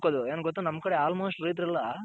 ಏನ್ ಗೊತ್ತ ನಮ್ ಕಡೆ almost. ರೈತರೆಲ್ಲ